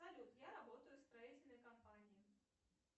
салют я работаю в строительной компании